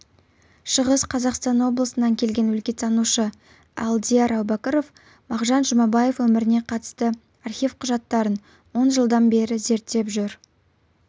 шығыс қазақстан облысынан келген өлкетанушы алдияр әубәкіров мағжан жұмабаев өміріне қатысты архив құжаттарын он жылдан бері зерттеп жүр